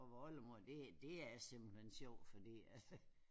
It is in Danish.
Og hvor oldemor det er simpelthen sjovt fordi